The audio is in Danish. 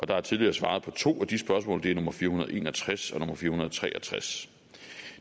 der er tidligere svaret på to af de spørgsmål og det er nummer fire hundrede og en og tres og nummer fire hundrede og tre og tres